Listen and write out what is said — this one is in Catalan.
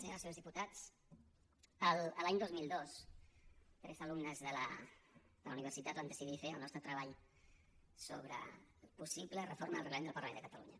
senyores i senyors diputats l’any dos mil dos tres alumnes de la universitat vam decidir fer el nostre treball sobre la possible reforma del reglament del parlament de catalunya